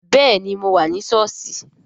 Bẹẹni, mo wà ní sọ́ọ̀sì